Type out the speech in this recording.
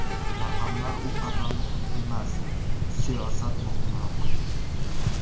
Raqamlar u qadar muhim emas, siyosat muhimroq.